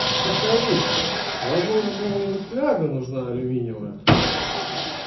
подскажите возможно кому-нибудь фляга нужна алюминиевая